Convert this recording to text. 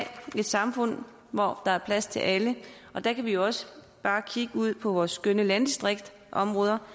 et samfund hvor der er plads til alle og der kan vi jo også bare kigge ud på vores skønne landdistriktsområder